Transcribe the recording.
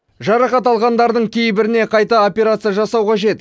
жарақат алғандардың кейбіріне қайта операция жасау қажет